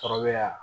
Sɔrɔ bɛ yan